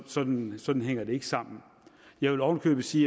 sådan sådan hænger det ikke sammen jeg vil ovenikøbet sige